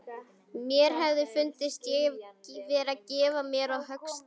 Mér hefði fundist ég vera að gefa á mér höggstað.